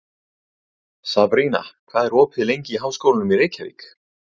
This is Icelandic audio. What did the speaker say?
Sabrína, hvað er opið lengi í Háskólanum í Reykjavík?